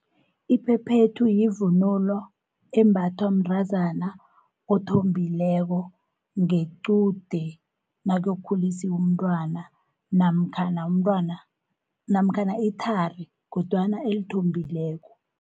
Iphephethu yivunulo embathwa mntazana othombileko ngequde nakuyokukhulisiwu umntwana, namkhana ithari kodwana elithombileko.